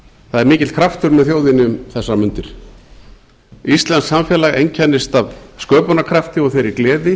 það er mikill kraftur með þjóðinni um þessar mundir íslenskt samfélag einkennist af sköpunarkrafti og þeirri gleði